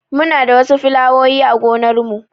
Muna da wasu filawowi a gonar mu